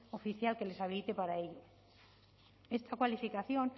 oficial que les habilite para ello esta cualificación